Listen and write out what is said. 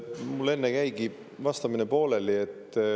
Mul enne jäigi vastamine pooleli.